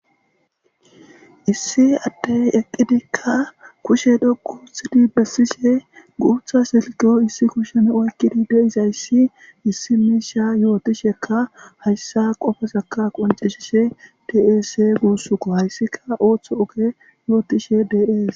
Issi addey eqqidikka kushe dhoquuthidi bessishe guutha silkeyo issi kushen oykkidi deizayssi issi misha yootishekka hayssa qofesaka qonceshishe des guussuko hayssika ooththo oge yootishe dees.